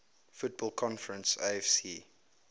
football conference afc